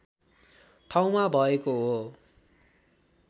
ठाउँमा भएको हो